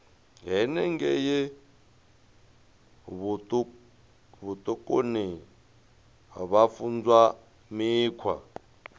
henengei vhutukani vha funzwa mikhwa